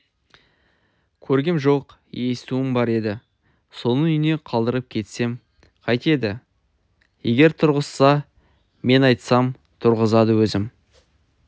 көргем жоқ естуім бар еді соның үйіне қалдырып кетсем қайтеді егер тұрғызса мен айтсам тұрғызады өзім